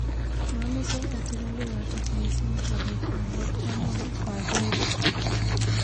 momeche atelele yotok missing akoek ngalek chomwoei ko akenge